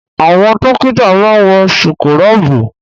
Àwọn dọ́kítà máa ń wọ síkúrọ̀bù.